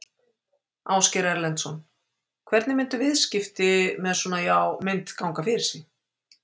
Ásgeir Erlendsson: Hvernig myndu viðskipti með svona já mynt ganga fyrir sig?